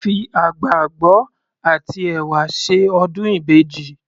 Wọ́n fi àgbàgbọ àti ẹ̀wà ṣe ọdún ìbejì.